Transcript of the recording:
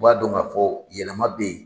U b'a dɔn ka fɔ yɛlɛma bɛ ye.